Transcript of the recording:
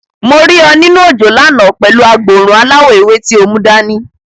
Mo rí ọ nínú òjò lánàá pẹ̀lú agboòrùn aláwọ̀ ewé tí o mú dani.